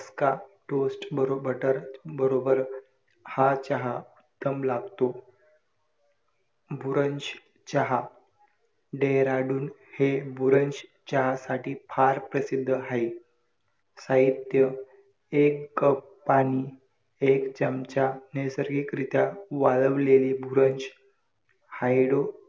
modern मध्ये पंचकर्म हे सर्व उत्कृष्ट सांगितलेला आहे पंचकर्म मध्ये आपण आपल्या शरीरात असलेले दोष .